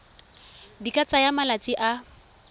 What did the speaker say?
di ka tsaya malatsi a